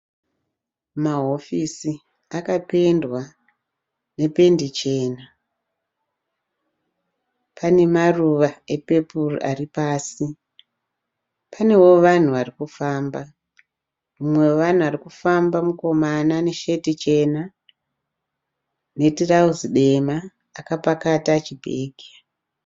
Mahofisi akapendwa nependi chena pane maruva epepuru ari pasi, panevo vanhu varikufamba, mumwe wevanhu arikufamba mukomana ane shirt chena ne trouse dema akapakata chibhegi.